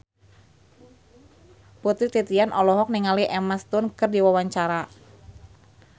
Putri Titian olohok ningali Emma Stone keur diwawancara